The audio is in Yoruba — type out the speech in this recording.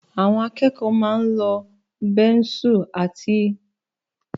Àwọn akẹ́kọ̀ọ́ máa ń lo bẹ́nsù láti fi kọṣẹ́